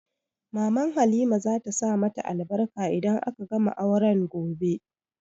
Maman Halima za ta sa ma ta albarka idan aka gama auren gobe